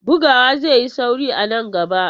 Bugawa zai yi sauri a nan gaba.